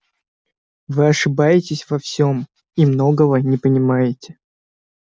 вы ошибаетесь во всём и многого не понимаете